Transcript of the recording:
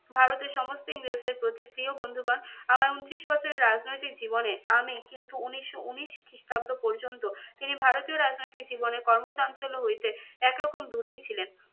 ভারতের সমস্ত ইংরেজদের প্রতি, প্রিয় বন্ধুগণ আমার ঊনত্রিশ বছরের রাজনৈতিক জীবনে আমি কিন্তু উনিশশো উনিশ খ্রিস্টাব্দ পর্যন্ত তিনি ভারতীয় রাজনৈতিক জীবনের কর্মচঞ্চল্য হইতে একরকম দূরেই ছিলেন।